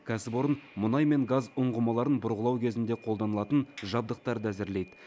кәсіпорын мұнай мен газ ұңғымаларын бұрғылау кезінде қолданылатын жабдықтарды әзірлейді